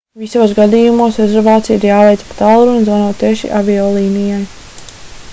visos gadījumos rezervācija ir jāveic pa tālruni zvanot tieši aviolīnijai